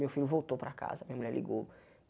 Meu filho voltou para casa, minha mulher ligou.